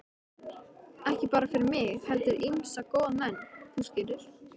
Ekki bara fyrir mig heldur ýmsa góða menn, þú skilur.